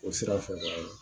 O sira fɛ